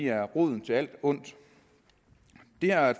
er roden til alt ondt det her er